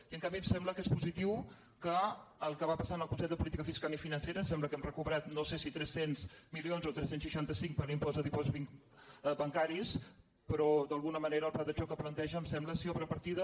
i en canvi em sembla que és positiu que el que va passar en el consell de política fiscal i financera em sembla que hem recuperat no sé si tres cents milions o tres cents i seixanta cinc per l’impost de dipòsits bancaris però d’alguna manera el pla de xoc que planteja em sembla si obre partida